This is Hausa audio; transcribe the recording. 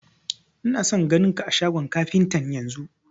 Ina son ganin ka a shagon kafintan yanzun!